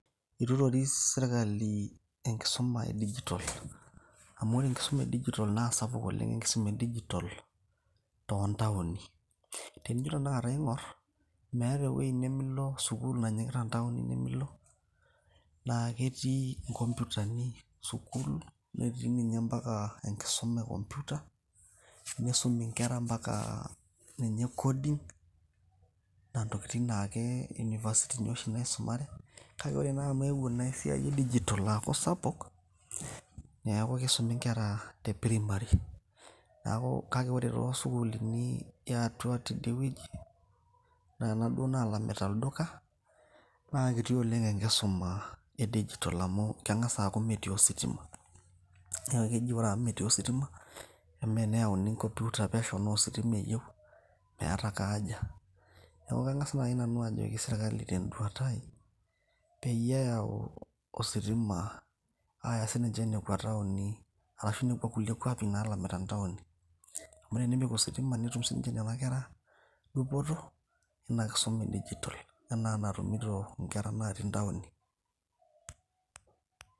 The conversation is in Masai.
Eitu eitoris sirkali enkisuma e digital, amu ore enkisuma e digital naa sapuk oleng enkisuma e digital too ntaoni. Tenijo tena kata aing`orr meeta ewueji nimilo sukuul nanyikita town naa ketii nkomputani sukuul naa netii ninye mpaka enkisuma e computer, nisumi nkera mpaka ninye coding. Naa ntokitin naake university ini oshi naisumare, kake ore naa amu eyewuo naa esiai e digital aaku sapuk. Neaku kisumi nkera te primary. Kake ore too sukuulini eetau tidie wueji kuna duo naalamita olduka, naa kiti oleng enkisuma e digital. Amu keng`as aaku metii ositima niaku keji ore amu metii ositima amaa teneyauni ake computer pesho naa ositima eyieu meeta ake haja. Niaku kang`as naaji nanu ajoki sirkali ten`duata ai peyie eyau ositima aaya sii ninche nekwa taoni ashu nekwa kulie kwapi naalamita ntaoni. Amu tenepik ositima netum sii ninche nena kera dupoto ina kisuma e digital enaa enatumito nkera natii ntaoni.